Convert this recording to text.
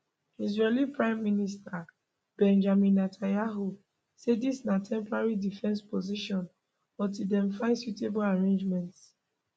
israeli prime minister benjamin netanyahu say dis na temporary defensive position until dem find suitable arrangements